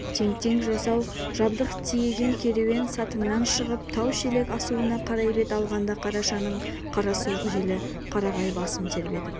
тең-тең жасау-жабдық тиеген керуен сатыңнан шығып тау-шелек асуына қарай бет алғанда қарашаның қара суық желі қарағай басын тербетіп